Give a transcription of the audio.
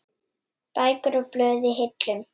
Bækur og blöð í hillum.